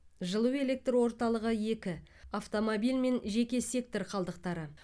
жылу электр орталығы екі автомобиль мен жеке сектор қалдықтары